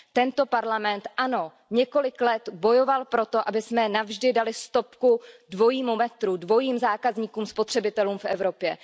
Ano, tento parlament několik let bojoval za to, abychom navždy dali stopku dvojímu metru, dvojím zákazníkům, spotřebitelům v Evropě.